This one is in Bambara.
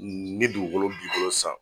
N ne dugukolo b'i bolo san